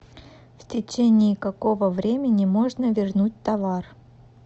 в течении какого времени можно вернуть товар